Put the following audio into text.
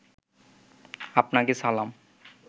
আপনাকে সালাম